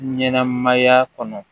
Ɲɛnɛmaya kɔnɔ